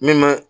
Min bɛ